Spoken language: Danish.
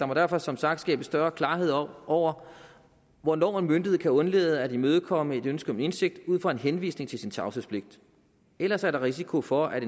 må derfor som sagt skabes større klarhed over over hvornår en myndighed kan undlade at imødekomme et ønske om indsigt ud fra en henvisning til sin tavshedspligt ellers er der risiko for at